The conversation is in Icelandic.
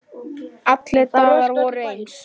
Allir dagar voru eins.